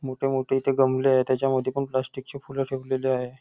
मोठे मोठे इथे गमले आहेत. त्याच्या मध्ये पण प्लास्टिक ची फूल ठेवलेली आहे.